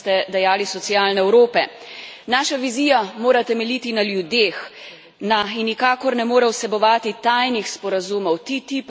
Naša vizija mora temeljiti na ljudeh in nikakor ne more vsebovati tajnih sporazumov TI tipa, ki znižuje standard Evropejcev.